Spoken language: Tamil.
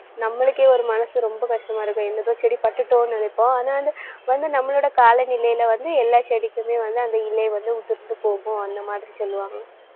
நம்மளுக்கே ஒரு மனசு ரொம்ப கஷ்டமா இருக்கும். செடி பட்டுட்டோன்னு நினைப்போம். ஆனா வந்து நம்மளோட காலநிலையில வந்து எல்லா செடிக்குமே வந்து அந்த இலை வந்து உதிர்ந்து போகும். அந்த மாதிரி சொல்லுவாங்க